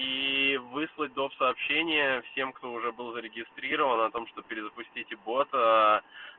и выслать доп сообщения всем кто уже был зарегистрирован о том что перезапустите бота